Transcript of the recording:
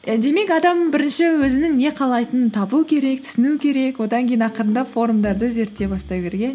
і демек адам бірінші өзінің не қалайтынын табу керек түсіну керек одан кейін ақырындап форумдарды зерттей бастау керек иә